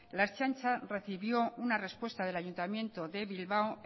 la ertzaintza recibió una respuesta del ayuntamiento de bilbao